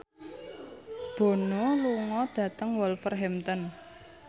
Bono lunga dhateng Wolverhampton